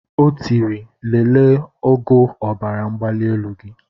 O tiri lelee ogo ọbaramgbalielu gị.